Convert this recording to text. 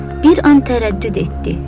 Bir an tərəddüd etdi.